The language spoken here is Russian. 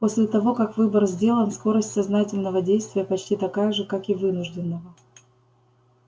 после того как выбор сделан скорость сознательного действия почти такая же как и вынужденного